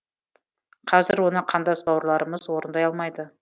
қазір оны қандас бауырларымыз орындай алмайды